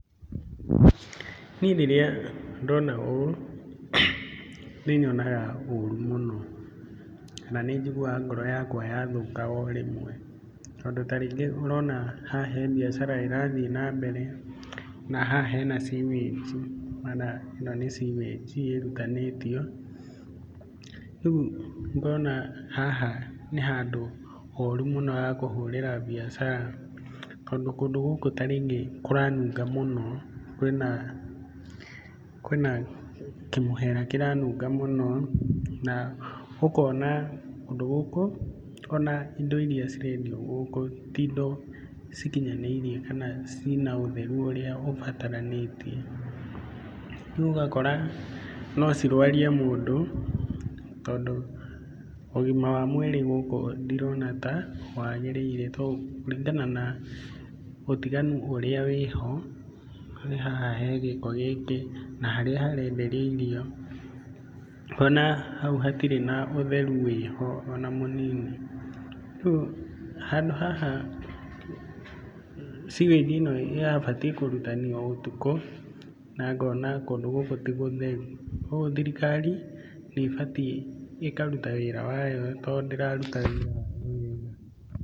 Niĩ rĩrĩa ndona ũũ, nĩ nyonaga ũru mũno. Na nĩ njiguaga ngoro yakwa yathũka o rĩmwe. Tondũ ta rĩngĩ ũrona haha he biacara ĩrathiĩ na mbere na haha hena sewage, ĩno nĩ sewage ĩrutanĩtio rĩu ngona haha handũ horu mũno hakũhũrĩra biacara tondũ, kũndũ gũkũ kũranunga mũno kwĩna kĩmũhera kĩranunga mũno na ũkona kũndũ gũkũ ona indo irĩa cirendio gũkũ, ti indo cikinyanĩirie kana cina ũtheru ũrĩa ũbataranĩtie. Rĩu ũgakora no cirwarie mũndũ tondũ, ũgima wa mwĩrĩ gũkũ ndĩrona ta wagĩrĩire to kũringana ũtiganu ũrĩa wĩho, wĩ haha he gĩko gĩkĩ na harĩa harenderio irio ngona hau hatirĩ na ũtheru wĩho ona mũnini. Rĩu handũ haha sewage ĩno ĩrabatiĩ kũrutanio o ũtukũ na ngona kũndũ gũkũ ti gũtheru. Koguo thirikari nĩ batiĩ ĩkaruta wĩra wayo tondũ ndĩraruta wĩra wayo wega.